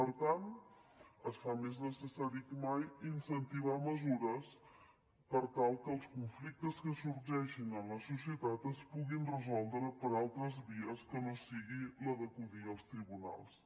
per tant es fa més necessari que mai incentivar mesures per tal que els conflictes que sorgeixin en la societat es puguin resoldre per altres vies que no sigui la d’acudir als tribunals